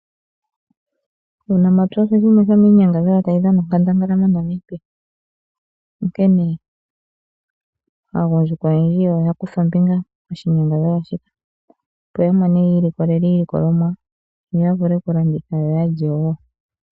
Uunamapya osho shimwe shomiinyadhalwa tayi dhana onkandangala moNamibia. Onkene aagundjuka oyendji oya kutha ombinga moshinyangadhalwa shika, opo ya mone yiilikolele iilikolomwa noya vule okulanditha yo oya lye wo.